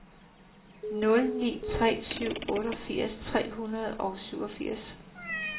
nul ni tre syv otteogfirs tre hundrede og syvogfirs